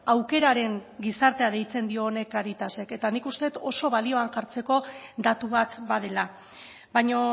aukeraren gizartea deitzen dio honi caritasek eta nik uste dut oso balioan jartzeko datu bat badela baina